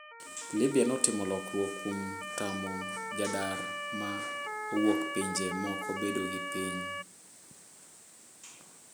Libya notimo lokruok kuom tamo jadar ma owuok pinje moko bedo gi piny.